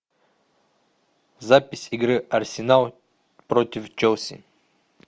запись игры арсенал против челси